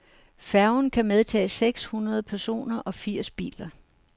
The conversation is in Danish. Færgen kan medtage seks hundrede personer og firs biler.